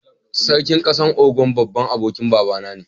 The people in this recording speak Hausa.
Sarkin kasan Ogun, babban abokin baba na ne.